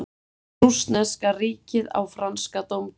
Rússneska ríkið á franska dómkirkju